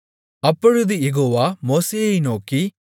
அப்பொழுது யெகோவா மோசேயை நோக்கி